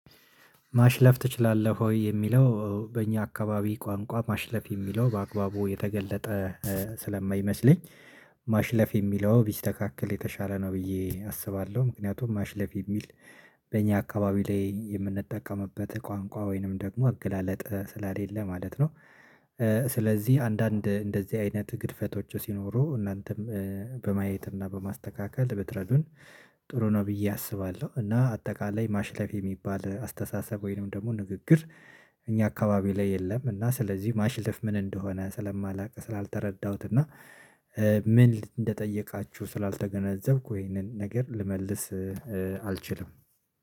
ማሽለፍ ትችላለህ ወይ የሚለው በእኛ አካባቢ ቋንቋ ማሽለፍ የሚለው በአግባቡ የተገለጠ ስለማይመስለኝ። ማሽለፍ የሚለው ቢስተካከል የተሻለ ነው ብዬ አስባለሁ። ምክንያቱም ማሽለፍ የሚል በእኛ አካባቢ ላይ የምንጠቀምበት ቋንቋ ወይንም ደግሞ አገላለጥ ስለሌለ ማለት ነው። ስለዚህ አንዳንድ እንደዚህ አይነት ግድፈቶቹ ሲኖሩ እናንተም በማየት እና በማስተካከል ብትረዱን። ጥሩ ነው ብዬ አስባለሁ። እና አጠቃላይ ማሽለፍ የሚባል አስተሳሰብ ወይንም ደግሞ ንግግር። እኛ አካባቢ ላይ የለም። እና ስለዚህ ማሽልፍ ምን እንደሆነ ስለማላውቅ ስላልተረዳሁት እና። ምን እንደጠየቃችሁ ስላልተገነዘብኩ ይሄንን ነገር ልመልስ አልችልም